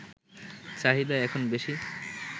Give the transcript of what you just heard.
চাহিদা এখন বেশি